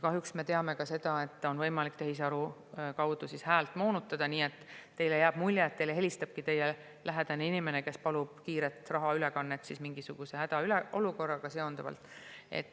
Kahjuks me teame ka seda, et tehisaru abil on võimalik häält moonutada, nii et teile jääb mulje, et helistabki teie lähedane inimene, kes palub kiiret rahaülekannet mingisuguse hädaolukorraga seonduvalt.